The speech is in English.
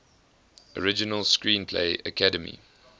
original screenplay academy